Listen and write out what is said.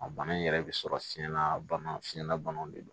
A bana in yɛrɛ bɛ sɔrɔ fiyɛn na bana fiɲɛna bana de don